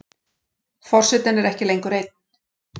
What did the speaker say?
Forsetinn er ekki lengur einn.